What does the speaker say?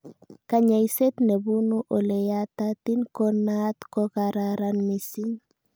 kanyaiset nebunu oleyatatin ko naat kokararan mising